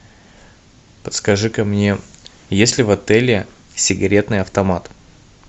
подскажи ка мне есть ли в отеле сигаретный автомат